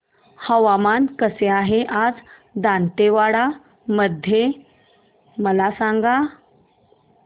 हवामान कसे आहे आज दांतेवाडा मध्ये मला सांगा